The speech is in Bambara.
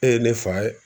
E ye ne fa ye